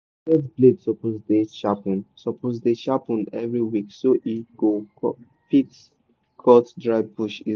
machete blade suppose dey sharpen suppose dey sharpen every week so e go fit cut dry bush easy.